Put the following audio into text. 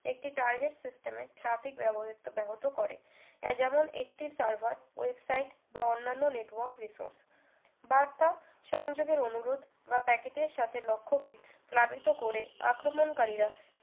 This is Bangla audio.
একটি target system এর traffic ব্যবহৃত ব্যাহত করে এ যেমন একটি server website বা অন্যান্য network resources বার্তা সংযোগের অনুরোধ বা packet এর সাথে লক্ষ্যকে প্লাবিত করে আক্রমণকারীরা